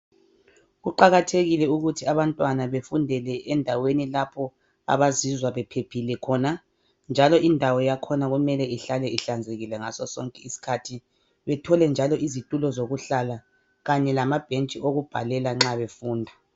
Kuqakathekile ukuthi abantwana bafundele endaweni lapho abazizwa bephephile khona njalo indawo yakhona kumele ihlale ihlanzekile ngaso sonke isikhathi, bathole njalo izitulo zokuhlala kanye lamabhentshi okubhalela nxa befunda.